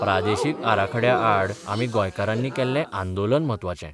प्रादेशीक आराखड्या आड आमी गोंयकारांनी केल्लें आंदोलन म्हत्वाचें.